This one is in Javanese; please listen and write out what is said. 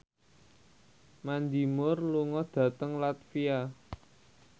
Mandy Moore lunga dhateng latvia